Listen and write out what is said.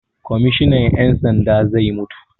Kwammishinan 'yan sanda zai mutu.